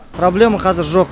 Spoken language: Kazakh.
проблема қазір жоқ